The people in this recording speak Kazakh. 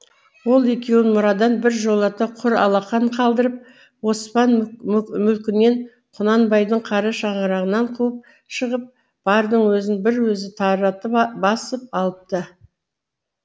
ол екеуін мұрадан бір жолата құр алақан қалдырып оспан мүлкінен құнанбайдың қара шаңырағынан қуып шығып бардың өзін бір өзі таратып басып алыпты